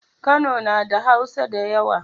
Kano nada hausa dayawa